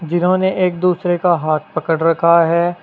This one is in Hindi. जिन्होंने एक दूसरे का हाथ पकड़ रखा है।